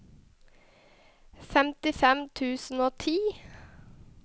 femtifem tusen og ti